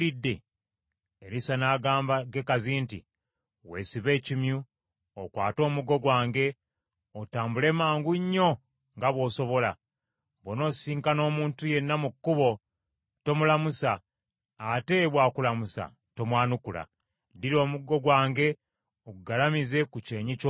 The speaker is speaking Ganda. Erisa n’agamba Gekazi nti, “Weesibe ekimyu, okwate omuggo gwange otambule mangu nnyo nga bw’osobola. Bw’onoosisinkana omuntu yenna mu kkubo tomulamusa, ate bw’akulamusa tomwanukula. Ddira omuggo gwange ogugalamize ku kyenyi ky’omwana.”